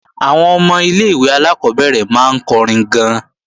Àwọn ọmọ ilé-ìwé alákọ́bẹ̀rẹ̀ máa ń kọrin gan-an